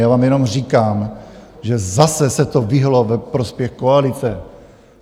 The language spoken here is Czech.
Já vám jenom říkám, že zase se to vyhnulo ve prospěch koalice.